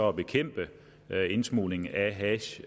at bekæmpe indsmuglingen af hash